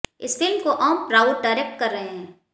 इस फिल्म को ओम राउत डायरेक्ट कर रहे हैं